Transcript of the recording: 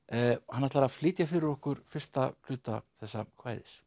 hann ætlar að flytja fyrir okkur fyrsta hluta þessa kvæðis